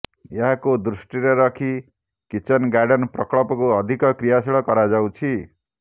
ଏହାକୁ ଦୃଷ୍ଟିରେ ରଖି କିଚେନ୍ ଗାର୍ଡେନ୍ ପ୍ରକଳ୍ପକୁ ଅଧିକ କ୍ରିୟାଶୀଳ କରାଯାଉଛି